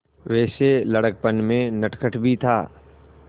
वैसे लड़कपन में नटखट भी था